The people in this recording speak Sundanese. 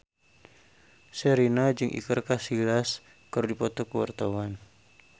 Sherina jeung Iker Casillas keur dipoto ku wartawan